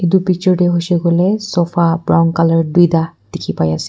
itu picture tey hoishe koileh sofa brown colour duita dikhi pai ase.